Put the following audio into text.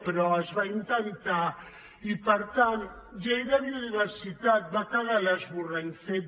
però es va intentar i per tant llei de biodiversitat va quedar l’esborrany fet